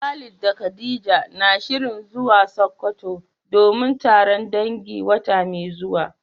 Khalid da khadija na shirin zuwa sokoto domin taron dangi wata mai zuwa.